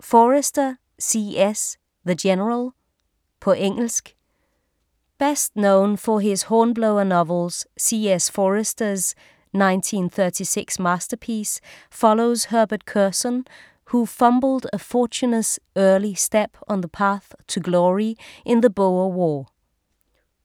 Forester, C. S.: The general På engelsk. Best known for his Hornblower novels, C.S. Forester's 1936 masterpiece follows Herbert Curzon, who fumbled a fortuitous early step on the path to glory in the Boer War.